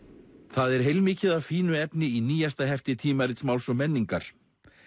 það er heilmikið af fínu efni í nýjasta hefti tímarits Máls og menningar